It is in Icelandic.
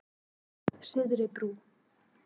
Syðri Brú